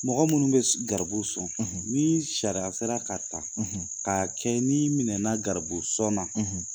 Mɔgɔ munnu bɛ garibu sɔn ni sariya sera ka ta ka kɛ ni minɛ na garibu sɔn na.